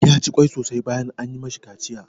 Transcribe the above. Ya ci ƙwai sosai bayan an yi ma shi kaciya.